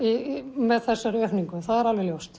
með þessari aukningu það er alveg ljóst